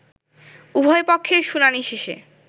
উভয় পক্ষের শুনানি শেষে